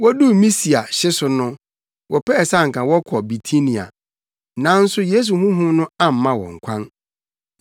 Woduu Misia hye so no, wɔpɛɛ sɛ anka wɔkɔ Bitinia, nanso Yesu Honhom no amma wɔn kwan.